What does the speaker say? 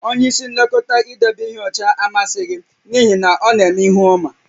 Onye nlekọta idebe ihe ọcha amasịghị m n'ihi na ọ na-eme ihu ọma